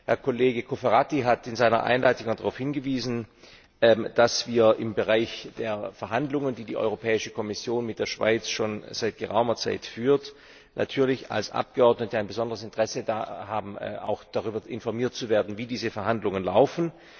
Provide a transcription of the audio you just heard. Herr Kollege Cofferati hat in seiner Einleitung darauf hingewiesen, dass wir im Bereich der Verhandlungen, die die Europäische Kommission mit der Schweiz schon seit geraumer Zeit führt, natürlich als Abgeordnete ein besonderes Interesse daran haben, auch darüber informiert zu werden, wie diese Verhandlungen laufen.